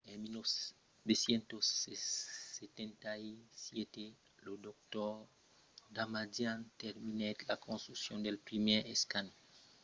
en 1977 lo dr. damadian terminèt la construccion del primièr escanèr irm de còrs entièr” que bategèt l'”indomdable